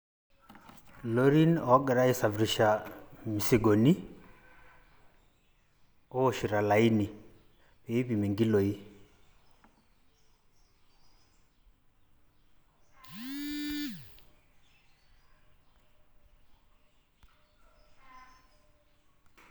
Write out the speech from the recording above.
lorin ogiraa aisafirisha ilmusigoni oowoshito olaini piipimi nkiloi